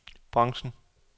branchen